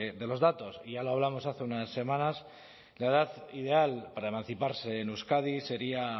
de los datos y ya lo hablamos hace unas semanas la edad ideal para emanciparse en euskadi sería